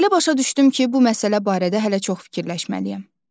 Belə başa düşdüm ki, bu məsələ barədə hələ çox fikirləşməliyəm.